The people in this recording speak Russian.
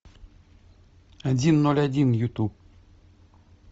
один ноль один ютуб